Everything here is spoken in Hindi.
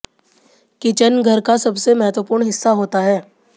किचन घर का सबसे महत्वपूर्ण हिस्सा होता है